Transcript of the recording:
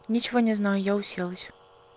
ничего не знаю я уселась